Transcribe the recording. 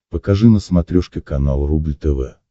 покажи на смотрешке канал рубль тв